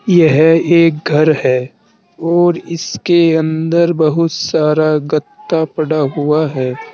यह एक घर है और इसके अंदर बहुत सारा गत्ता पड़ा हुआ है।